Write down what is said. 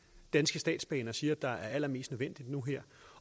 danske statsbaner siger er allermest nødvendigt nu